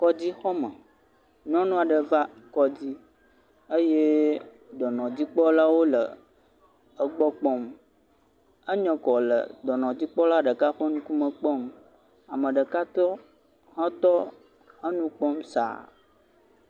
Kɔdzixɔme. Nyɔnu aɖe va kɔdzi eye dɔnɔdzikpɔlawo le egbɔ kpɔm. Enye kɔ le dɔnɔdzikpɔla ɖeka ƒe ŋkume kpɔm. Ame ɖeka tɔ hetɔ, enu kpɔm saa.